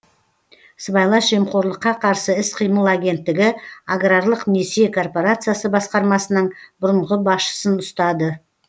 сыбайлас жемқорлыққа қарсы іс қимыл агенттігі аграрлық несие корпорациясы басқармасының бұрынғы басшысын ұстады